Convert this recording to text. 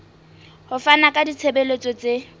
ho fana ka ditshebeletso tse